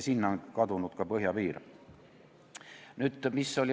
Sinna on kadunud ka meie põhjapiiri ärakasutamine.